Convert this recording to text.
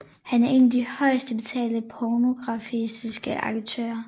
Han er en af de højest betalte pornografiske aktører